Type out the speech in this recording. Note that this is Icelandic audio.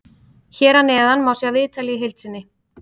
Hér að neðan má sjá viðtalið í heild sinni.